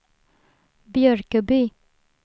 Björköby